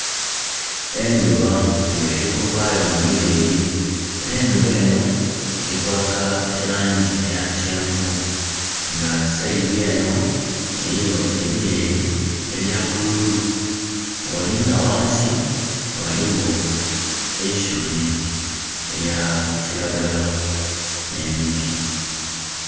Endhuba nga eli kuvaayo mu bileli. Endhuba enho eli kwaka elaangi eya kyenvu. Nga side enho eliyo ebileli ebya bululu. Bwolinga ghansi, ghaligho eisubi elya kiragala, nh'emiti.